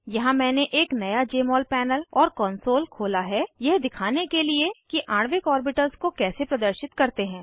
यहाँ मैंने एक नया जमोल पैनल और कॉन्सोल खोला है यह दिखाने के लिए कि आणविक ऑर्बिटल्स को कैसे प्रदर्शित करते हैं